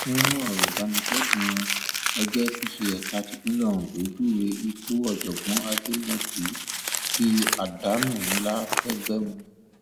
nínú ọrọ ìbánikẹdùn wọn ẹgbẹ apc ẹka tipinlẹ ondo júwe ikú ọjọgbọn àdèmódì bíi àdánù ńlá fẹgbẹ wọn